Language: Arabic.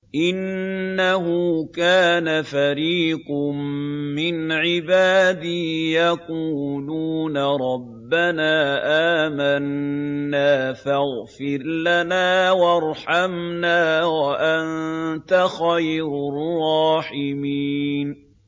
إِنَّهُ كَانَ فَرِيقٌ مِّنْ عِبَادِي يَقُولُونَ رَبَّنَا آمَنَّا فَاغْفِرْ لَنَا وَارْحَمْنَا وَأَنتَ خَيْرُ الرَّاحِمِينَ